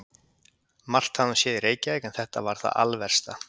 Margt hafði hún séð í Reykjavík en þetta var það alversta.